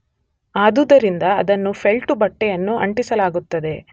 ಆದುದರಿಂದ ಅದನ್ನು ಫೆಲ್ಟು ಬಟ್ಟೆಯನ್ನು ಅಂಟಿಸಲಾಗುತ್ತದೆ